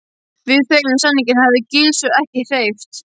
Við þeim samningum hafði Gizur ekki hreyft.